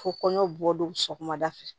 Ko kɔɲɔ bɔ don sɔgɔmada fɛ